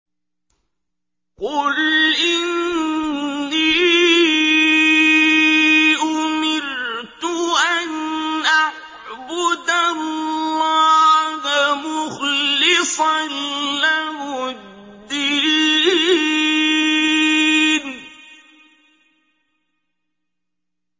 قُلْ إِنِّي أُمِرْتُ أَنْ أَعْبُدَ اللَّهَ مُخْلِصًا لَّهُ الدِّينَ